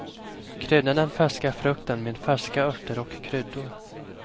Krydda den färska frukten med färska örter och kryddor.